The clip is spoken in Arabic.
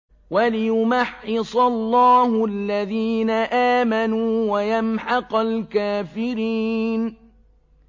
وَلِيُمَحِّصَ اللَّهُ الَّذِينَ آمَنُوا وَيَمْحَقَ الْكَافِرِينَ